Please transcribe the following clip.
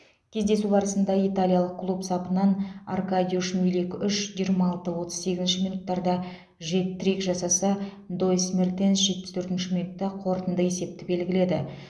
кездесу барысында италиялық клуб сапынан аркадиуш милик үш жиырма алты отыз сегізінші минуттарда жет трик жасаса доис мертенс жетпіс төртінші минутта қорытынды есепті белгіледі